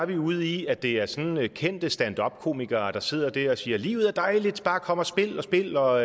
vi ude i at det er sådan nogle kendte standuppere der sidder dér og siger livet er dejligt bare kom og spil og